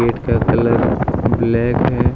क्या colour black है।